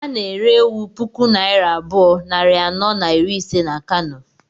A na-ere ewu puku naira abụọ, nari anọ na iri ise na Kano